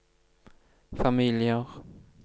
familier